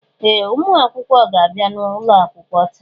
Ee! Ụmụ akwụkwọ ga-abịa n'ụlọ akwụkwọ taa.